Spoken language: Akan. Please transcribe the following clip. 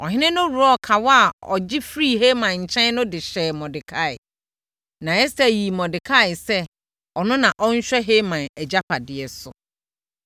Ɔhene no worɔɔ kawa a ɔgye firii Haman nkyɛn no de hyɛɛ Mordekai. Na Ɛster yii Mordekai sɛ ɔno na ɔnhwɛ Haman agyapadeɛ so.